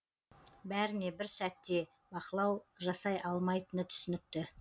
бәріне бір сәтте бақылау жасай алмайтыны түсінікті